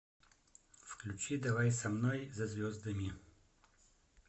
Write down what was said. включи давай со мной за звездами